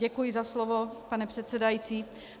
Děkuji za slovo, pane předsedající.